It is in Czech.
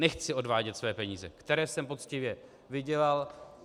Nechci odvádět své peníze, které jsem poctivě vydělal.